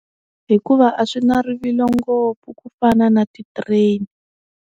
Hikuva a swi na rivilo ngopfu ku fana na ti-train.